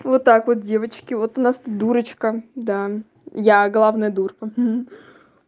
вот так вот девочки вот у нас тут дурочка да я главное дурка хи хи